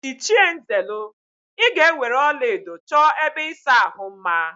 Ịchie Nzelu, ị ga-eweere ọlaedo chọọ ebe ịsa ahụ mma!